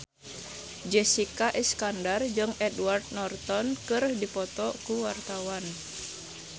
Jessica Iskandar jeung Edward Norton keur dipoto ku wartawan